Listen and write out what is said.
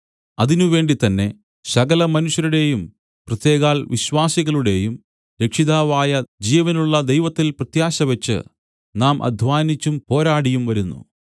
അതിനുവേണ്ടി തന്നെ സകലമനുഷ്യരുടെയും പ്രത്യേകാൽ വിശ്വാസികളുടെയും രക്ഷിതാവായ ജീവനുള്ള ദൈവത്തിൽ പ്രത്യാശവച്ച് നാം അദ്ധ്വാനിച്ചും പോരാടിയും വരുന്നു